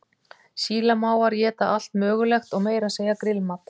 Sílamávar éta allt mögulegt og meira að segja grillmat.